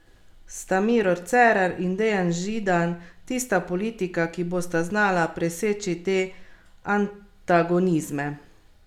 Sta Miro Cerar in Dejan Židan tista politika, ki bosta znala preseči te antagonizme?